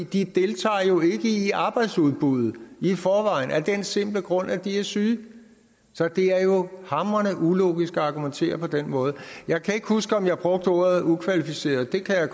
de deltager jo ikke i arbejdsudbuddet i forvejen af den simple grund at de er syge så det er jo hamrende ulogisk at argumentere på den måde jeg kan ikke huske om jeg brugte ordet ukvalificeret der kan jeg